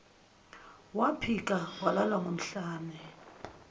waphika walala ngomhlane